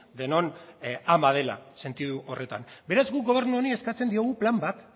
denon ama dela sentidu horretan beraz gu gobernu honi eskatzen diogu plan bat